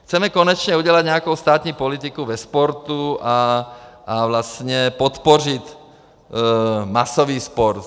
Chceme konečně udělat nějakou státní politiku ve sportu a vlastně podpořit masový sport.